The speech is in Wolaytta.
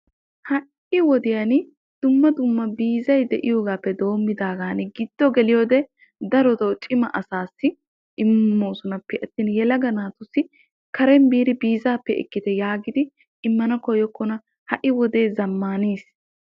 ha"i wodiyan dumma dumma biizay de'iyogaappe doommidaagan giddo geliyode darotoo cima asaassi immoosona pe attin yelaga naatussi karen biidi biizaabbe ekkite yaagidi immana koyyokkona. ha'i wodee zammaanis.